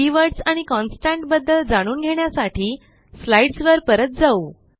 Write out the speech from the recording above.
keywords आणि constant बद्दल जाणून घेण्यासाठी स्लाईडसवर परत जाऊ